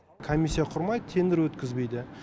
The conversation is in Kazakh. комиссия құрмайды тендр өткізбейді